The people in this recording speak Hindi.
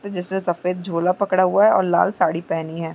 जिसमे सफेद झोला पकड़ा हुआ है और लाल साड़ी पहनी है।